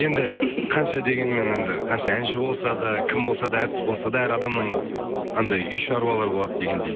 енді қанша дегенмен енді қанша әнші болса да кім болса да әртіс болса да әр адамның анандай үй шаруалары болады дегендей